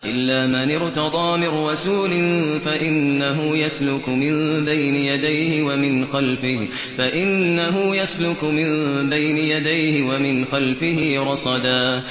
إِلَّا مَنِ ارْتَضَىٰ مِن رَّسُولٍ فَإِنَّهُ يَسْلُكُ مِن بَيْنِ يَدَيْهِ وَمِنْ خَلْفِهِ رَصَدًا